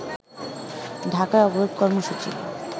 ঢাকায় অবরোধ কর্মসূচি